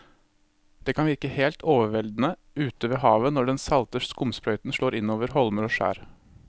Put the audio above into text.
Det kan virke helt overveldende ute ved havet når den salte skumsprøyten slår innover holmer og skjær.